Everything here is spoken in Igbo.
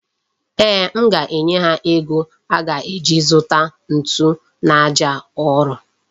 Ee, m ga-enye ha ego a ga-eji zụta nzu na aja ụrọ.